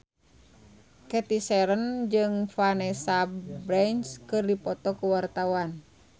Cathy Sharon jeung Vanessa Branch keur dipoto ku wartawan